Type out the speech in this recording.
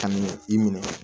Kame i minɛ